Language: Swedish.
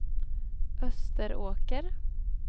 Österåker